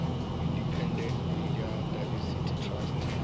independent media diversity trust ha